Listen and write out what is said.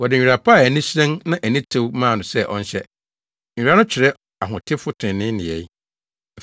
Wɔde nwera pa a ani hyerɛn na ani tew maa no sɛ ɔnhyɛ.” (Nwera no kyerɛ ahotefo trenee nneyɛe.)